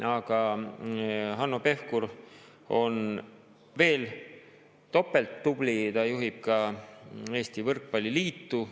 Aga Hanno Pevkur on veel topelttubli: ta juhib ka Eesti Võrkpalli Liitu.